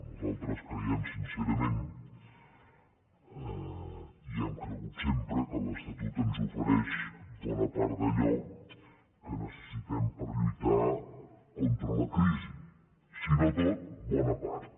nosaltres creiem sincerament hi hem cregut sempre que l’estatut ens ofereix bona part d’allò que necessitem per lluitar contra la crisi si no tot bona part